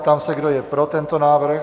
Ptám se, kdo je pro tento návrh?